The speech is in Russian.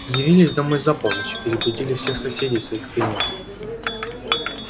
явились домой за полночь и перебудили всех соседей своих пением